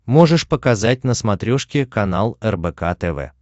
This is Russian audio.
можешь показать на смотрешке канал рбк тв